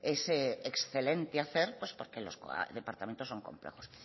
ese excelente hacer pues porque los departamentos son complejos